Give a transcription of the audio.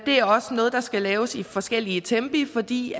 det er også noget der skal laves i forskellige tempi fordi